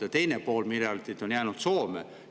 Ja teine pool miljardit on jäänud Soome.